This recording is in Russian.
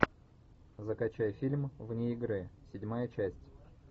закачай фильм вне игры седьмая часть